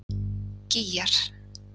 Gígjar